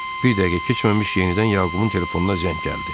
Bir dəqiqə keçməmiş yenidən Yaqubun telefonuna zəng gəldi.